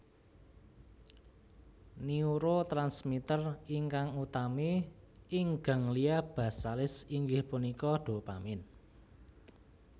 Neurotransmiter ingkang utami ing ganglia basalis inggih punika dopamin